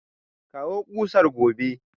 Kawo kusar gobe!